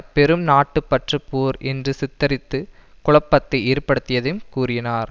பெரும் நாட்டுப் பற்றுப் போர் என்று சித்தரித்து குழப்பத்தை ஏற்படுத்தியதையும் கூறினார்